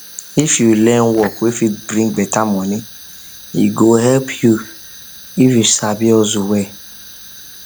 if you learn work wey fit bring better money e go help you if you if you sabi hustle well